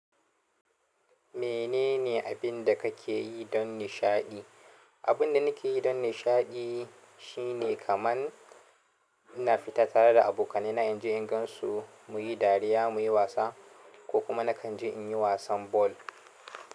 Menene abin da kake yi don nishaɗi? Abin da nake yi don nishaɗi shine kaman ina fita tare da abokaina, in je in gansu, muyi dariya, muyi wasa ko kuma nakan je in yi wasan ball.